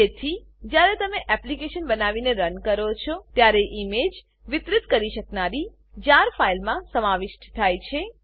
તેથી જ્યારે તમે એપ્લીકેશન બનાવીને રન કરો છો ત્યારે ઈમેજ વિતરિત કરી શકનારી જાર જાર ફાઈલમાં સમાવિષ્ટ થાય છે